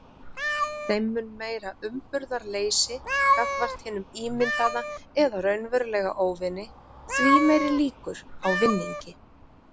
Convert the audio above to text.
Þeim mun meira umburðarleysi gagnvart hinum ímyndaða eða raunverulega óvini, því meiri líkur á vinningi.